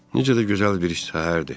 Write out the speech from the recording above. Necə də gözəl bir səhərdir.